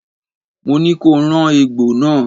Mo ní ko rán egbò náà!